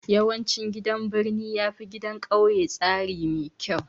Yawancin gidan birni yafi gidan kauye tsari mai kyau